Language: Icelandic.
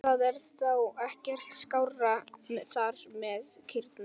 Og það er þá ekkert skárra þar með kýrnar?